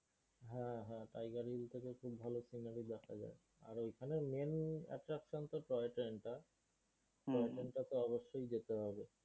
Tiger hill থেকে খুব ভালো scenery দেখা যায়। আর ঐখানে main attraction টা হছে টয়ট্রেন টা। টয়ট্রেন টায় তো অবশ্যই যেতে হবে।